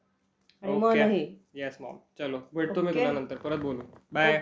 Yes mom. भेटतो मी तुला नंतर. परत बोलू. बाय.